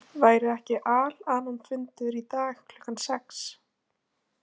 Væri ekki Al- Anonfundur í dag klukkan sex?